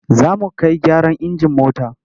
Za mu kai gyaran injin mota.